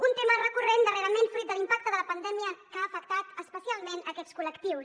un tema recurrent darrerament fruit de l’impacte de la pandèmia que ha afectat especialment aquests col·lectius